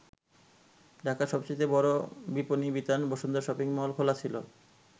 ঢাকার সবচাইতে বড় বিপনী বিতান বসুন্ধরা শপিং মল খোলা ছিল।